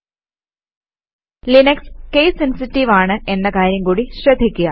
httpspoken tutorialorg Linux case sensitive ആണ് എന്ന കാര്യം കൂടി ശ്രദ്ധിക്കുക